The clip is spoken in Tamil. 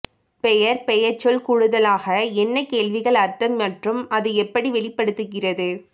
பெயர் பெயர்ச்சொல் கூடுதலாக என்ன கேள்விகள் அர்த்தம் மற்றும் அது எப்படி வெளிப்படுத்துகிறது